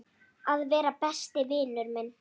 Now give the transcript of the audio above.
Að vera besti vinur minn.